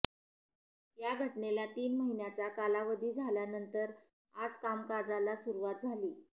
या घटनेला तीन महिन्याचा कालावधी झाल्यानंतर आज कामकाजाला सुरुवात झाली